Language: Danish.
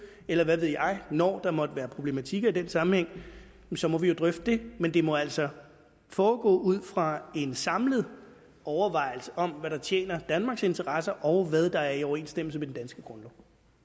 eller hvad ved jeg når der måtte være problematikker i den sammenhæng så må vi jo drøfte det men det må altså foregå ud fra en samlet overvejelse om hvad der tjener danmarks interesser og hvad der er i overensstemmelse med den danske grundlov